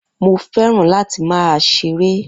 Mo fẹ́ràn láti máa ṣeré